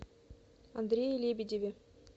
андрее лебедеве